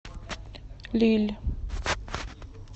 лилль